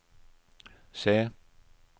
se